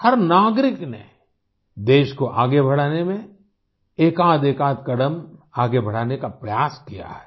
हर नागरिक ने देश को आगे बढ़ाने में एकाधएकाध कदम आगे बढ़ाने का प्रयास किया है